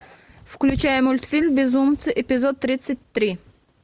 включай мультфильм безумцы эпизод тридцать три